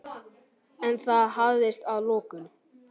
En það hafðist að lokum.